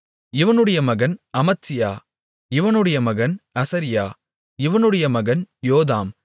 இவனுடைய மகன் அமத்சியா இவனுடைய மகன் அசரியா இவனுடைய மகன் யோதாம்